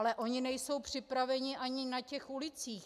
Ale oni nejsou připraveni ani na těch ulicích.